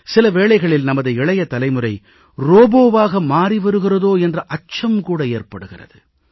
சில வேளைகளில் நமது இளைய தலைமுறை ரோபோவாக மாறி வருகிறதோ என்ற அச்சம் கூட ஏற்படுகிறது